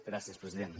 gràcies president